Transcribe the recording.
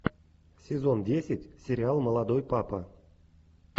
сезон десять сериал молодой папа